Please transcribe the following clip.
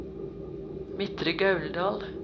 Midtre Gauldal